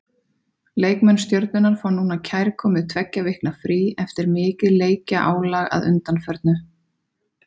Leikmenn Stjörnunnar fá núna kærkomið tveggja vikna frí eftir mikið leikjaálag að undanförnu.